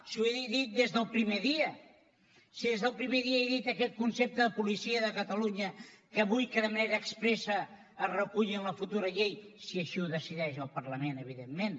si ho he dit des del primer dia si des del primer dia he dit aquest concepte de policia de catalunya que vull que de manera expressa es reculli en la futura llei si així ho decideix el parlament evidentment